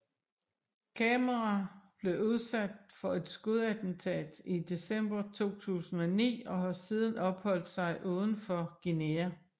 Camera blev udsat for et skudattentat i december 2009 og har siden opholdt sig udenfor Guinea